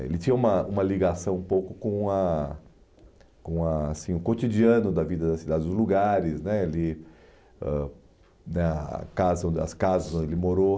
Ele tinha uma uma ligação um pouco com ah com assim o cotidiano da vida das cidades, os lugares né ele ãh na casa as casas onde ele morou.